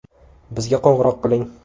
Bizga qo‘ng‘iroq qiling.